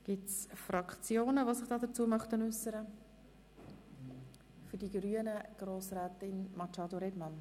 Die Fraktionen haben das Wort, für die grüne Fraktion Grossrätin Machado Rebmann.